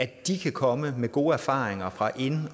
de kan komme med gode erfaringer fra ind og